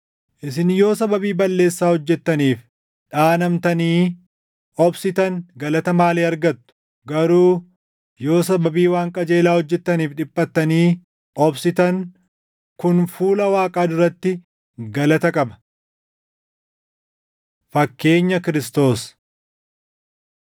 Isin yoo sababii balleessaa hojjettaniif dhaanamtanii obsitan galata maalii argattu? Garuu yoo sababii waan qajeelaa hojjettaniif dhiphattanii obsitan kun fuula Waaqaa duratti galata qaba. Fakkeenya Kiristoos